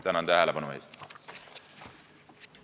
Tänan tähelepanu eest!